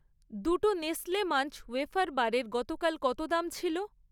দুটো টো Nestle Munch wafer বারের গতকাল কত দাম ছিল?